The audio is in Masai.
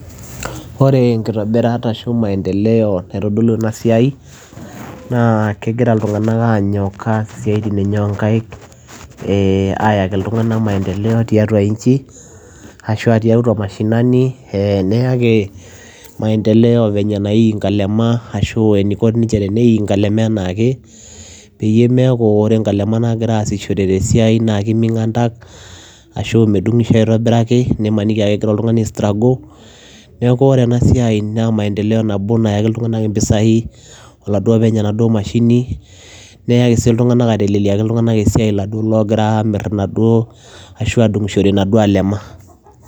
Ore enkitobirat ashu maendeleo naitodolu ena siai naa kegira iltung'anak aanyok aas isiaitin enye oo nkaek ee ayaki iltung'anak maendeleo tiatua nchi ashu a tiatua mashinani ee neyaki maendelo venye naii nkalema ashu eniko ninche teneiii nkalema enaake, peyie meeku ore nkalema naagira aasishore te siai naake eming'antak ashu medung'isho aitobiraki nimaniki ake agira oltung'ani aistruggle. Neeku ore ena siai naa maendeleo nabo nayakii iltung'anak impisai oladuo openy enaduo mashini, neyaki sii iltung'anak aiteleleaki iltung'anak esiai iladuo loogira aamir inaduo ashu aadung'ishore inaduo alema.